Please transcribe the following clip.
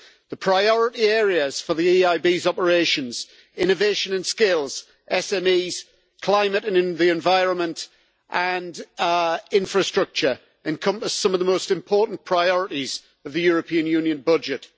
The priority areas for the EIB's operations innovation and skills, SMEs, climate and the environment and our infrastructure encompass some of the most important priorities of the European Union budget.